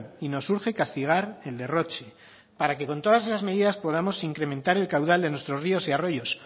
y nos urge castigar el derroche para que con todas esas medidas podamos incrementar el caudal de nuestros ríos y arroyos